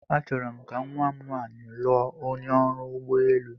Achọrọ m ka nwa m nwanyị lụọ onye ọrụ ụgbọ elu.